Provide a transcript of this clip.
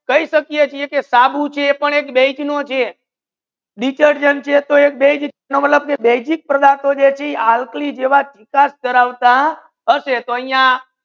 કહી સકે કે છે સાબુ એક base detergent છે એ બેઝ છે basic પદાર્થો જો છે એ અલ્કાઈને જેવા ચિકાસ ધારવતા